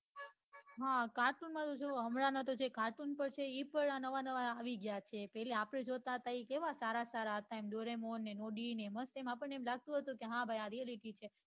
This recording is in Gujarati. હા cartoon નો તો જોવો હમણાં ના તો જે cartoon નો છે એ પન નવા નવા આવી ગયા છે જે આપડે જોતા તા એ કેવા સારા સારા હતા એમ doremon ને nobi ને તેમ આપણને લાગતું હતું કે હા ભાઈ આ realistic છે